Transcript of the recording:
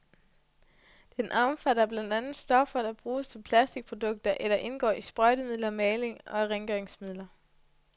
Den omfatter blandt andet stoffer, der bruges til plastikprodukter eller indgår i sprøjtemidler, maling og rengøringsmidler.